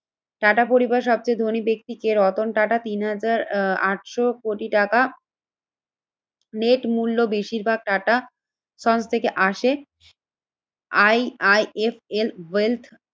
Tata পরিবার সবচেয়ে ধনী ব্যক্তি কে? রতন টাটা তিন হাজার আটশো কোটি টাকা নেট মূল্য বেশিরভাগ টাটা থেকে আসে। I I F L wealth